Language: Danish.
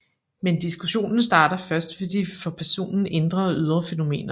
Men diskussionen starter først ved de for personen indre og ydre fænomener